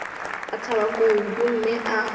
a thaba kudu mme a